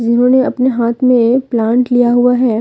इन्होंने अपने हाथ में एक प्लांट लिया हुआ है।